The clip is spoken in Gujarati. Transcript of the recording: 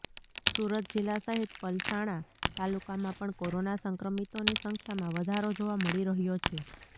સુરત જિલ્લા સહિત પલસાણા તાલુકામાં પણ કોરોના સંક્રમિતોની સંખ્યામાં વધારો જોવા મળી રહયો છે